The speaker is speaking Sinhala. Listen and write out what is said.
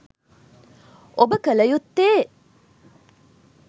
ඔබ කළ යුත්තේ